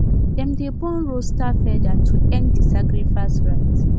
dem dey burn rooster feather to end the sacrifice rite